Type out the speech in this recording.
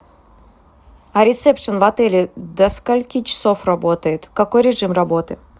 а ресепшен в отеле до скольки часов работает какой режим работы